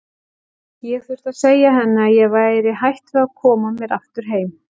Ég þurfti að segja henni að ég væri hætt við og koma mér aftur heim.